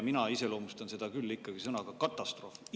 Mina iseloomustan seda ikkagi sõnaga "katastroof".